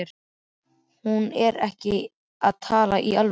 Hún er ekki að tala í alvöru.